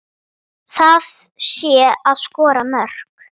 Það sé að skora mörk.